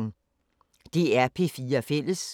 DR P4 Fælles